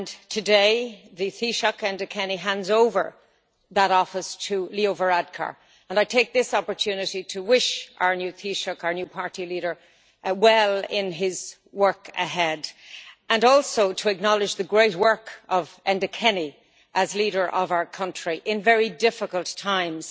Today, the taoiseach Enda Kenny hands over that office to Leo Varadkar, and I take this opportunity to wish our new taoiseach, our new party leader, well in his work ahead, and also to acknowledge the great work of Enda Kenny as leader of our country in very difficult times.